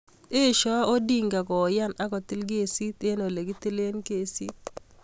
Eshoi Odinga koyan akotil kesit eng ole kitilee kesit.